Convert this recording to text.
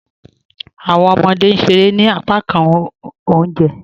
Awọn ọmọde n ṣèrè ní àpákàn ọ̀unjẹ